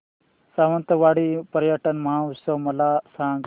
सावंतवाडी पर्यटन महोत्सव मला सांग